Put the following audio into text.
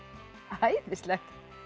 æðislegt